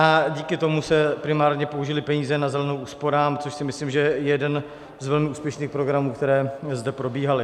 A díky tomu se primárně použily peníze na Zelenou úsporám, což si myslím, že je jeden z velmi úspěšných programů, které zde probíhaly.